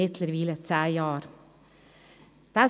Mittlerweile ist dies zehn Jahre her.